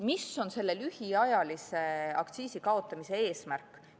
Mis on selle lühiajalise aktsiisi kaotamise eesmärk?